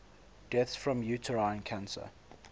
deaths from uterine cancer